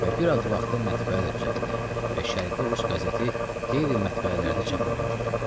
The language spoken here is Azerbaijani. Və bir az vaxta mətbəə də düzəldi və şərqi Rus qəzeti qeyri-mətbəələrdə çap olunurdu.